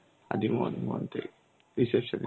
আদি মোহিনী মোহন থেকে reception.